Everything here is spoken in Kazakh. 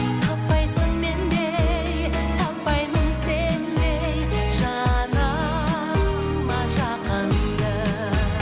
таппайсың мендей таппаймын сендей жаныма жақынды